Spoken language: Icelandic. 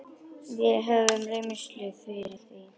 Við höfum reynslu fyrir því.